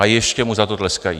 A ještě mu za to tleskají.